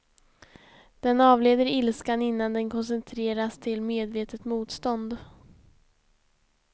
Den avleder ilskan innan den koncentreras till medvetet motstånd.